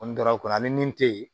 N donna a kɔnɔ ani min te yen